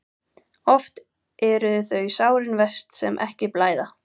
Oft eru þau sárin verst sem ekki blæða.